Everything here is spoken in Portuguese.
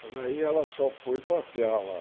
Mas aí ela só foi passear lá.